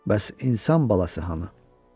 Bəs insan balası hanı?